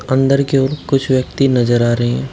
अंदर के ओर कुछ व्यक्ति नजर आ रहे हैं।